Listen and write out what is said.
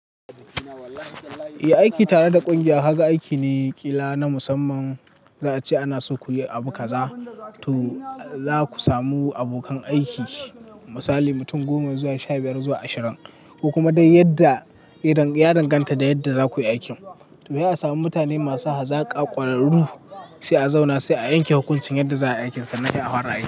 Eh aiki tare da ƙungiya haka aiki ne ƙila na musamman. Za a ce ana so ku yi abu kaza, to za ku samu abokan aiki misali mutum goma zuwa sha biyar zuwa ashirin. Ko kuma dai yadda ya danganta da yadda za ku yi aikin. To, zaa sami mutane masu hazaƙa ƙwararru sai a zauna sai a yanke hukunci yadda za a yi aikin sannan sai afara aiki.